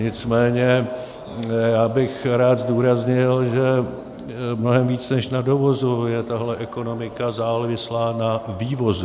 Nicméně já bych rád zdůraznil, že mnohem víc než na dovozu je tahle ekonomika závislá na vývozu.